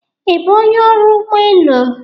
Ị bụ onye ọrụ ụgbọ elu?